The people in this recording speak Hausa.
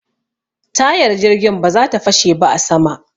Tayar jirgin ba za ta fashe ba a sama.